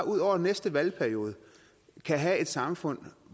ud over næste valgperiode kan have et samfund